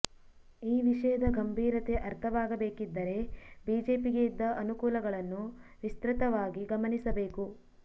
ಈ ವಿಷಯದ ಗಂಭೀರತೆ ಅರ್ಥವಾಗಬೇಕಿದ್ದರೆ ಬಿಜೆಪಿಗೆ ಇದ್ದ ಅನುಕೂಲಗಳನ್ನು ವಿಸ್ತೃತವಾಗಿ ಗಮನಿಸಬೇಕು